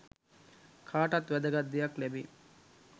කාටත් වැදගත් දෙයක් ලැබෙයි